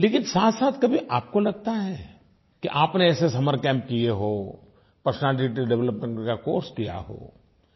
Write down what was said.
लेकिन साथसाथ कभी आपको लगता है कि आपने ऐसे समर कैम्प किये हों पर्सनैलिटी डेवलपमेंट का कोर्स किया हो